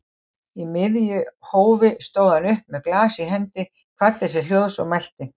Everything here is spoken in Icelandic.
Í miðju hófi stóð hann upp með glas í hendi, kvaddi sér hljóðs og mælti